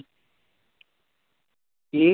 ਕੀ?